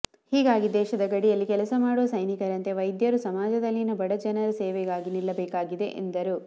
ಹೀಗಾಗಿ ದೇಶದ ಗಡಿಯಲ್ಲಿ ಕೆಲಸ ಮಾಡುವ ಸೈನಿಕರಂತೆ ವೈದ್ಯರು ಸಮಾಜದಲ್ಲಿನ ಬಡಜನರ ಸೇವೆಗಾಗಿ ನಿಲ್ಲಬೇಕಿದೆ ಎಂದರು